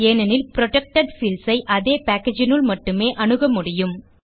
ஏனெனில் protected fields ஐ அதே packageனுள் மட்டுமே அணுக முடியும்